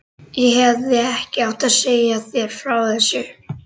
Ég hefði ekki átt að segja þér frá þessu